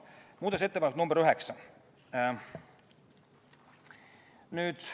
Muudatusettepanek nr 9.